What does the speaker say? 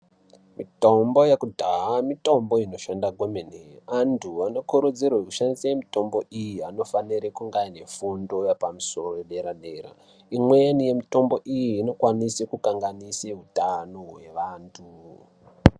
Mitombo yakudhaya, mitombo inoshanda kwemene. Antu vanokurudzirwe kushandise mitombo iyi, anofanere kunganefundo yepamsoro yepaderadera. Imweni yemitombo iyi, inokwanise kukanganise hutano hwevantu.